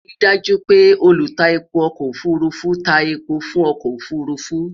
rí daaju pé olu tá èpo ọkọ òfurufú tá èpo fún ọkọ òfurufú